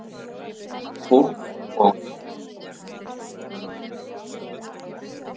Fólk og huldufólk.